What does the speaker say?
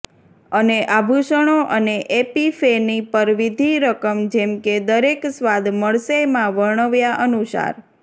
અને આભૂષણો અને એપિફેની પર વિધિ રકમ જેમ કે દરેક સ્વાદ મળશે માં વર્ણવ્યા અનુસાર